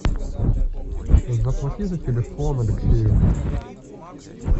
заплати за телефон алексею